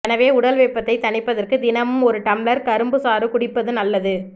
எனவே உடல் வெப்பத்தை தணிப்பதற்கு தினமும் ஒரு டம்ளர் கரும்பு சாறு குடிப்பது நல்லது